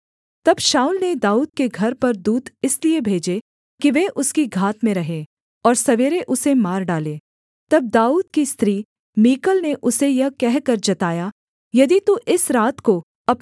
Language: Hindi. तब शाऊल ने दाऊद के घर पर दूत इसलिए भेजे कि वे उसकी घात में रहें और सवेरे उसे मार डालें तब दाऊद की स्त्री मीकल ने उसे यह कहकर जताया यदि तू इस रात को अपना प्राण न बचाए तो सवेरे मारा जाएगा